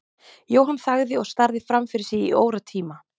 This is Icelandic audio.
Jóhann þagði og starði fram fyrir sig í óratíma.